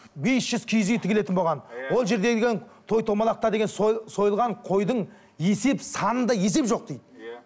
бес жүз киіз үй тігілетін болған ол жерде деген той томалақта деген сойылған қойдың есеп санында есеп жоқ дейді иә